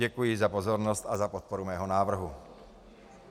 Děkuji za pozornost a za podporu mého návrhu.